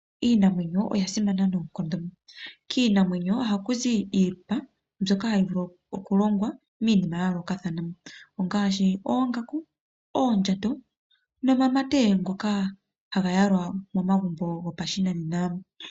Iinamwenyo oya simana noonkondo. Kiinamwenyo ohaku zi iipa .byokahayi vulu okulongwa miinima ya yoolokathana, ongaashi oongaku, oondjato nonamamate ngoka haga yalwa momagumbo go pashinanena.